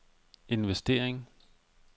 investering